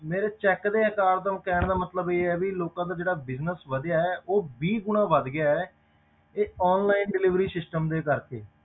ਮੇਰੇ check ਦੇ ਆਕਾਰ ਦਾ ਕਹਿਣ ਦਾ ਮਤਲਬ ਇਹ ਆ ਵੀ ਲੋਕਾਂ ਦਾ ਜਿਹੜਾ business ਵਧਿਆ ਹੈ ਉਹ ਵੀਹ ਗੁਣਾ ਵੱਧ ਗਿਆ, ਇਹ online delivery system ਦੇ ਕਰਕੇ